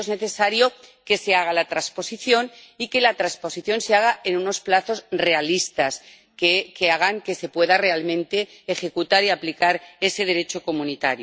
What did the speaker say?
Para ello es necesario que se haga la transposición y que la transposición se haga en unos plazos realistas, que hagan que se pueda realmente ejecutar y aplicar ese Derecho de la Unión.